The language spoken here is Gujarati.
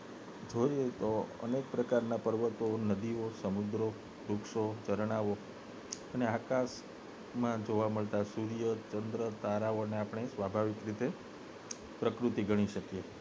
જોઈતો અનેક પ્રકારના પર્વતો નદીઓ સમુદ્રો વૃક્ષો ઝરણાં અને આકાશ માં જોવા મળતાં સૂર્ય ચંદ્ર તારાઓ ને આપને સ્વભાવિક રીતે પ્રકૃતિ ગણી શકીએ